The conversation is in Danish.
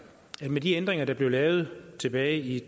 at der med de ændringer der blev lavet tilbage i